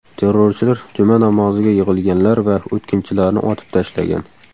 Terrorchilar juma namoziga yig‘ilganlar va o‘tkinchilarni otib tashlagan.